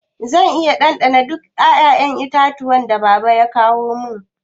Zan iya dandana duka 'ya'yan itatuwan da baba ya kawu?